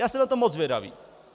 Já jsem na to moc zvědavý.